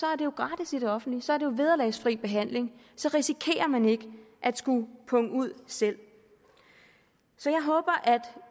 er det jo gratis i det offentlige så er det jo vederlagsfri behandling så risikerer man ikke at skulle punge ud selv så jeg håber at